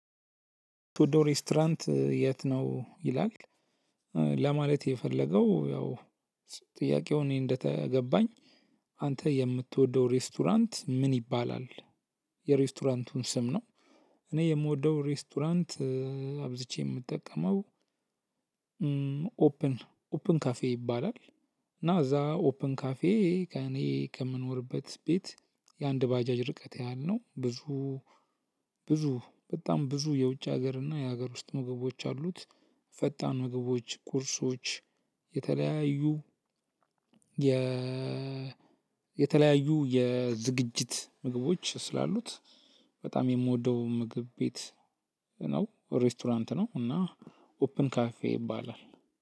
የምትወደው ሬስቶራንት የት ነው ይላል? ለማለት የፈለገው ያው ጥያቄው እኔ እንደተገባኝ አንተ የምትወደው ሬስቶራንት ምን ይባላል? የሬስቶራንቱን ስም ነው። እኔ የምወደው ሬስቶራንት አብዝቼ የምጠቀመው። ኦፕን ኦፕን ካፌ ይባላል። እና እዛ ኦፕን ካፌ ከእኔ ከምኖርበት ቤት የአንድ ባጃጅ ርቀት ያህል ነው። ብዙ ብዙ በጣም ብዙ የውጭ ሀገር እና የሀገር ውስጥ ምግቦች አሉት። ፈጣን ምግቦች ቁርሶች የተለያዩ የ የተለያዩ የዝግጅት ምግቦች ስላሉት። በጣም የምወደው ምግብ ቤት ነው። ሬስቶራንት ነው እና ኦፕን ካፌ ይባላል።